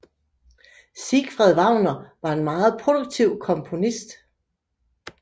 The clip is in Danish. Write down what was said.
Siegfried Wagner var en meget produktiv komponist